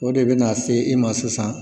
O de bɛ na se i ma sisan.